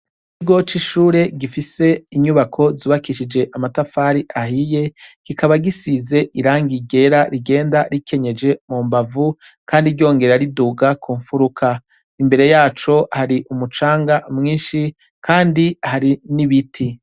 Kibwoce ishure gifise inyubako zubakishije amatafari ahiye gikaba gisize iranga igera rigenda rikenyeje mu mbavu, kandi ryongera riduga ku mfuruka imbere yaco hari umucanga mwinshi, kandi hari n'ibiti.